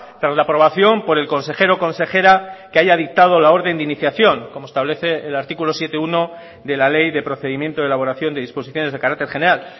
tras la aprobación por el consejero o consejera que haya dictado la orden de iniciación como establece el artículo siete punto uno de ley de procedimiento de elaboración de disposiciones de carácter general